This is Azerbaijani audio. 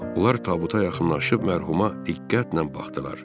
Onlar tabuta yaxınlaşıb mərhuma diqqətlə baxdılar.